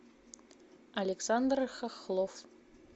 александр хохлов